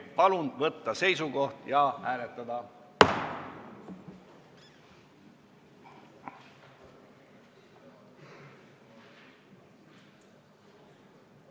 Palun võtta seisukoht ja hääletada!